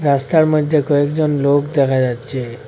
রাস্তার মধ্যে কয়েকজন লোক দেখা যাচ্ছে।